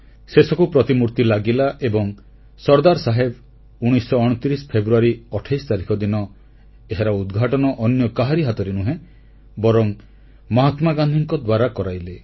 ଶେଷକୁ ପ୍ରତିମୂର୍ତ୍ତି ଲାଗିଲା ଏବଂ ସର୍ଦ୍ଦାର ସାହେବ 1929 ଫେବୃୟାରୀ 28 ତାରିଖ ଦିନ ଏହାର ଉଦ୍ଘାଟନ ଅନ୍ୟ କାହାରି ହାତରେ ନୁହେଁ ବରଂ ମହାତ୍ମା ଗାନ୍ଧୀଙ୍କ ଦ୍ୱାରା କରାଇଲେ